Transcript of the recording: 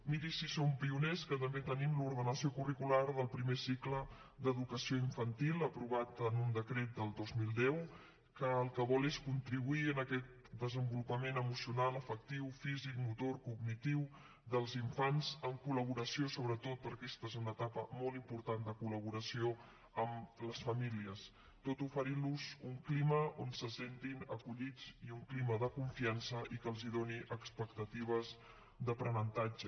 miri si som pioners que també tenim l’ordenació curricular del primer cicle d’educació infantil aprovat en un decret del dos mil deu que el que vol és contribuir a aquest desenvolupament emocional afectiu físic motor cognitiu dels infants en col·laboració sobretot perquè aquesta és una etapa molt important de col·laboració amb les famílies tot oferint los un clima on se sentin acollits i un clima de confiança i que els doni expectatives d’aprenentatge